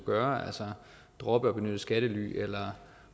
gøre altså droppe at benytte skattely eller